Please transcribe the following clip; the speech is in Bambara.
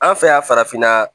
An fɛ yan farafinna